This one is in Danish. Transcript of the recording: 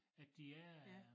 At der er